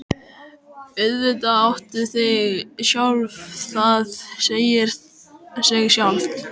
Auðvitað áttu þig sjálf, það segir sig sjálft.